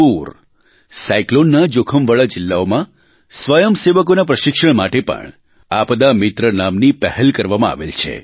પૂર સાયક્લોનના જોખમવાળાજિલ્લાઓમાં સ્વયંસેવકોના પ્રશિક્ષણ માટે પણ આપદા મિત્ર નામની પહેલ કરવામાં આવેલ છે